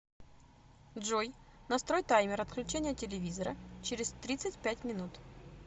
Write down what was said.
джой настрой таймер отключения телевизора через тридцать пять минут